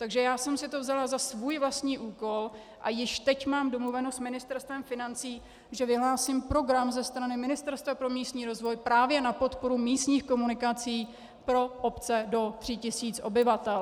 Takže já jsem si to vzala za svůj vlastní úkol a již teď mám domluveno s Ministerstvem financí, že vyhlásím program ze strany Ministerstva pro místní rozvoj právě na podporu místních komunikací pro obce do 3 tisíc obyvatel.